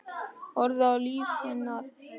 Horfi á líf hennar opnast.